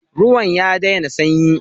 Ruwan ya daina sanyi.